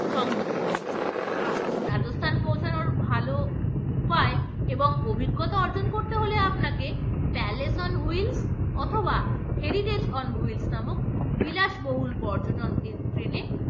সংযুক্ত রয়েছে রাজস্থান পৌঁছানোর ভালো উপায় এবং অভিজ্ঞতা অর্জন করতে হলে আপনাকে palace on wheels অথবা heritage on wheels নামক বিলাসবহুল পর্যটন train এ